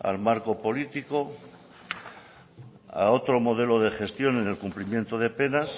al marco político a otro modelo de gestión en el cumplimiento de penas